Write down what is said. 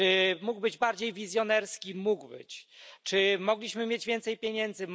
Czy mógł być bardziej wizjonerski? Mógł być. Czy mogliśmy mieć więcej pieniędzy?